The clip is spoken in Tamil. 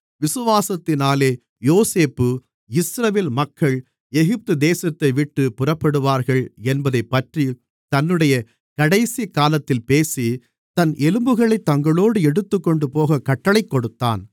விசுவாசத்தினாலே யோசேப்பு இஸ்ரவேல் மக்கள் எகிப்து தேசத்தைவிட்டுப் புறப்படுவார்கள் என்பதைப்பற்றித் தன்னுடைய கடைசிகாலத்தில் பேசி தன் எலும்புகளைத் தங்களோடு எடுத்துக்கொண்டுபோகக் கட்டளைக் கொடுத்தான்